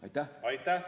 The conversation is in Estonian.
Aitäh!